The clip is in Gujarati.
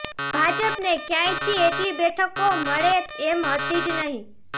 ભાજપને ક્યાંયથી એટલી બેઠકો મળે એમ હતી જ નહીં